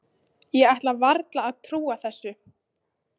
Ég ætlaði varla að trúa þessu.